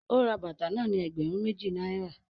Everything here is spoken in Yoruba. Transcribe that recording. O rà bàtà náà ní ẹgbẹrun méjì náírà